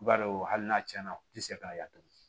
I b'a dɔn hali n'a tiɲɛna u tɛ se k'a yatu